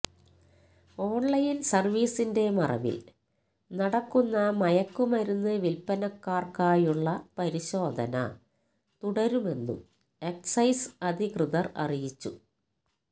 online സർവീസിന്റെ മറവില് നടക്കുന്ന മയക്കുമരുന്ന് വില്പ്പനക്കാർക്കായുള്ള പരിശോധന തുടരുമെന്നും എക്സൈസ് അധികൃതർ അറിയിച്ചു